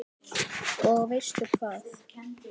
Og veistu hvað?